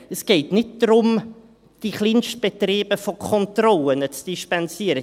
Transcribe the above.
Es geht nicht darum, die Kleinstbetriebe von Kontrollen zu dispensieren.